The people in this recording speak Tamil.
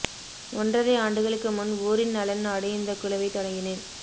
ஒன்றரை ஆண்டுகளுக்கு முன் ஊரின் நலன் நாடி இந்த குழுவை தொடங்கினேன்